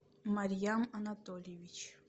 марьям анатольевич